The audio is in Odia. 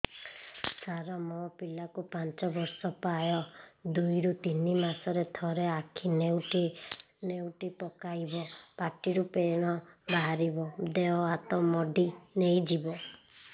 ସାର ମୋ ପିଲା କୁ ପାଞ୍ଚ ବର୍ଷ ପ୍ରାୟ ଦୁଇରୁ ତିନି ମାସ ରେ ଥରେ ଆଖି ନେଉଟି ପକାଇବ ପାଟିରୁ ଫେଣ ବାହାରିବ ଦେହ ହାତ ମୋଡି ନେଇଯିବ